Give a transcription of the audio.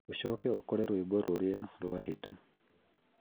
ũcoke ucokere rwĩmbo rũrĩa rwahĩta